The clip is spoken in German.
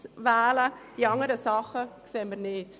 Die anderen Sachen sehen wir nicht.